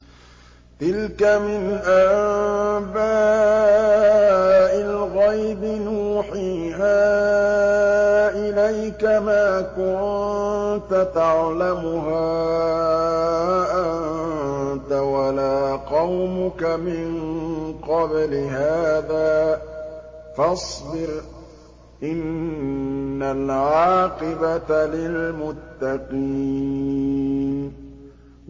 تِلْكَ مِنْ أَنبَاءِ الْغَيْبِ نُوحِيهَا إِلَيْكَ ۖ مَا كُنتَ تَعْلَمُهَا أَنتَ وَلَا قَوْمُكَ مِن قَبْلِ هَٰذَا ۖ فَاصْبِرْ ۖ إِنَّ الْعَاقِبَةَ لِلْمُتَّقِينَ